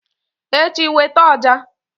echi, weta ọjà!